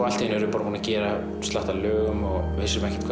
allt í einu erum við búnir að gera slatta af lögum og vissum ekkert